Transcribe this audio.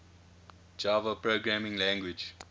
java programming language